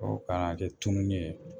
O ka na kɛ tunni ye.